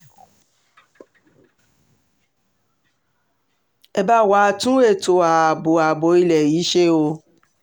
ẹ bá um wa tún ètò ààbò ààbò ilé yìí ṣe o